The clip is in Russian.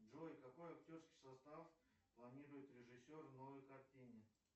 джой какой актерский состав планирует режиссер в новой картине